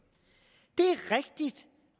det